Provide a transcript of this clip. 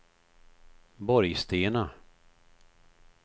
Borgstena